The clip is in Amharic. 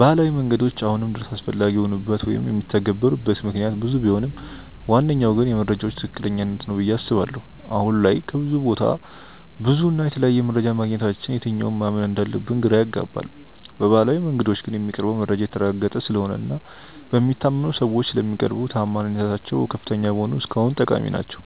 ባህላዊ መንገዶች አሁንም ድረስ አስፈላጊ የሆኑበት ወይም የሚተገበሩበት ምክንያት ብዙ ቢሆንም ዋነኛው ግን የመረጃዎች ትክክለኛነት ነው ብዬ አስባለሁ። አሁን ላይ ከብዙ ቦታ ብዙ እና የተለያየ መረጃ ማግኘታችን የትኛውን ማመን እንዳለብን ግራ ያጋባል። በባህላዊው መንገዶች ግን የሚቀርበው መረጃ የተረጋገጠ ስለሆነ እና በሚታመኑ ሰዎች ስለሚቀርቡ ተአማኒነታቸው ከፍተኛ በመሆኑ እስካሁን ጠቃሚ ናቸው።